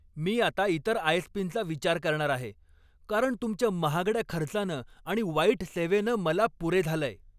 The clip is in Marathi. मी आता इतर आय.एस.पीं.चा विचार करणार आहे, कारण तुमच्या महागड्या खर्चानं आणि वाईट सेवेनं मला पुरे झालंय.